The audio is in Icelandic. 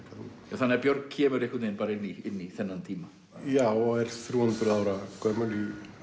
þannig að Björg kemur einhvern veginn bara inn í þennan tíma já og er þrjú hundruð ára gömul í